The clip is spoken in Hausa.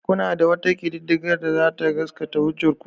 Kuna da wata ƙididdiga da za ta gasgata hujjar ku?